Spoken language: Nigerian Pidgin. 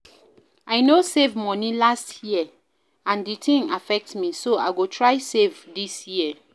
I no save money last year and the thing affect me so I go try save dis year